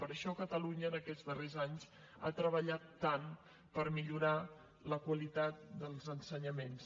per això catalunya en aquests darrers anys ha treballat tant per millorar la qualitat dels ensenyaments